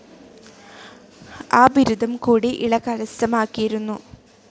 ആ ബിരുദം കൂടി ഇള കരസ്ഥമാക്കിയിരുന്നു.